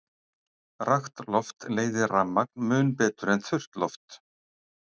Rakt loft leiðir rafmagn mun betur en þurrt loft.